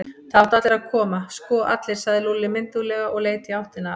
Það áttu allir að koma, sko allir, sagði Lúlli mynduglega og leit í áttina að